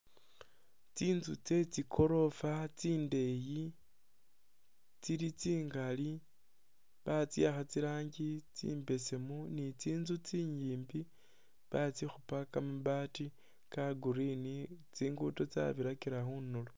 Tsinzu tsetsigoroofa tsindeyi tsili tsingali batsiwakha tsi rangi tsibesemu ni tsinzu tsinyimbi batsikhuupa kamabati ka green tsingudo tsabirakila khundulo